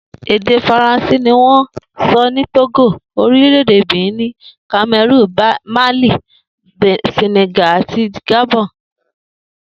Èdè Faransé ni wó̩n ń so̩ ní Tógò, orílè̩-èdè Benin, Kame̩rúùnì, Málì, Sè̩nè̩gà àti Gàbo̩n